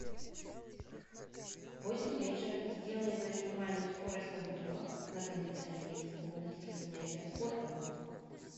в восемь вечера сделай на минимальную скорость обдува на кондиционере в комнате для занятия спортом